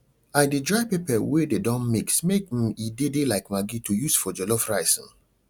i dey dry pepper wey dey don mix make um e de de like maggi to use for jollof rice um